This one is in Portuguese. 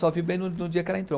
Só vi bem no no dia que ela entrou.